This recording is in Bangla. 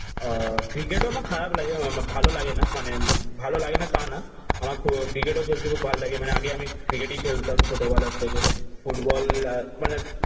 আহ ক্রিকেট ও না খারাপ লাগে ভালো লাগে না। মানে ভালো লাগেনা তা না, আমার ক্রিকেটেও ফেলতে খুব ভালো লাগে। মানে আগে আমি ক্রিকেটই খেলতাম ছোটবেলা থেকে। ফুটবল মানে